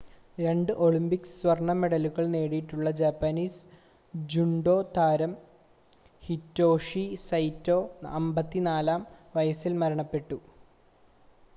രണ്ട് ഒളിമ്പിക് സ്വർണ്ണ മെഡലുകൾ നേടിയിട്ടുള്ള ജാപ്പനീസ് ജൂഡോ താരം ഹിറ്റോഷി സൈറ്റോ 54-ആം വയസിൽ മരണപ്പെട്ടു